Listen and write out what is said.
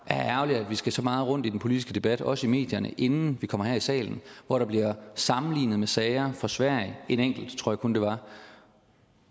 er ærgerligt at vi skal så meget rundt i den politiske debat også i medierne inden vi kommer her i salen hvor der bliver sammenlignet med sager fra sverige en enkelt tror jeg kun det var